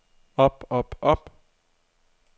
op op op